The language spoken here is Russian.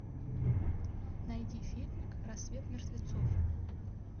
найди фильмик рассвет мертвецов